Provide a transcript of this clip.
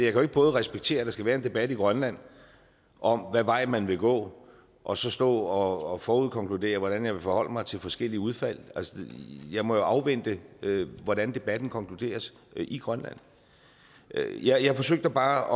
ikke både respektere at der skal være en debat i grønland om hvad vej man vil gå og så stå og forudkonkludere hvordan jeg vil forholde mig til forskellige udfald altså jeg må jo afvente hvordan debatten konkluderes i grønland jeg forsøgte bare